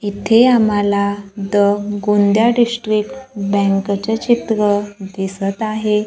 इथे आम्हाला the Gondia district bank चं चित्र दिसतं आहे.